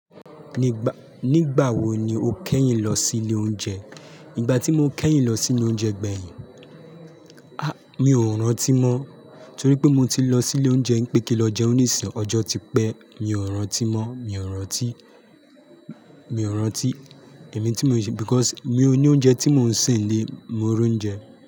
Nígbà wo ni o kẹ́yìn lọ sí ilé oúnjẹ? Nígbà tí mo kẹ́yìn lọ sí ilé oúnjẹ gbẹ̀yìn, mi ò rántí mọ́, torí pé mo ti lọ sí ilé oúnjẹ ń pé kí lọ jẹun ní ìsìn ọjọ́ ti pẹ́, mi ò rántí mọ́, mi ò rántí, mi ò rántí ẹ̀mí tí mò ṣe because mi ò ní oúnjẹ tí mò ń sè nílé, mo ro oúnjẹ.